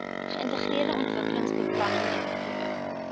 geïntegreerde ontwikkelingsbeplanning effektiewe